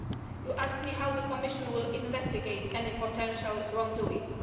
You ask me how the Commission will investigate any potential wrongdoing.